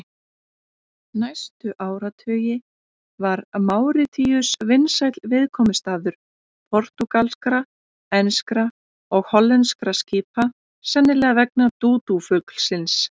Næstu áratugi var Máritíus vinsæll viðkomustaður portúgalskra, enskra og hollenskra skipa, sennilega vegna dúdúfuglsins.